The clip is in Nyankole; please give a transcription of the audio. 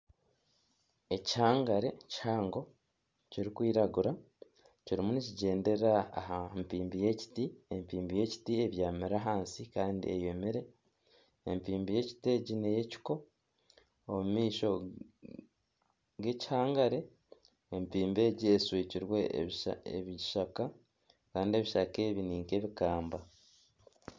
Ekihangare kihango kirikwiragura kirimu nikigyendera aha mpimbi y'ekiti, empimbi y'ekiti ebyamire ahansi kandi eyomire, empimbi y'ekiti ney'ekiko omu maisho g'ekikihangare empimbi egi eshwekirwe ebishaka kandi ebishaka ebi ninka ebikamba.